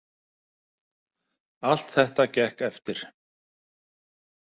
Allt þetta gekk eftir.